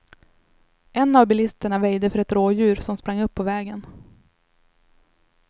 En av bilisterna väjde för ett rådjur, som sprang upp på vägen.